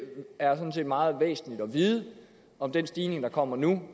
er sådan set meget væsentligt at vide om den stigning der kommer nu